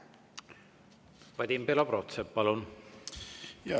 Vadim Belobrovtsev, palun!